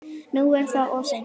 Nú er það of seint.